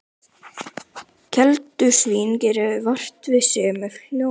Keldusvín gerir vart við sig með hljóðum.